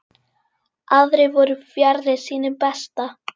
Aðrir voru fjarri sínu besta.